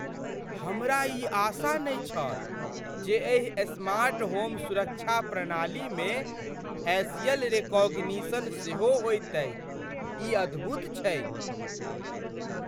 हमरा ई आशा नहि छल जे एहि स्मार्ट होम सुरक्षा प्रणालीमे फैशियल रेकॉग्निशन सेहो होयतैक। ई अद्भुत छैक।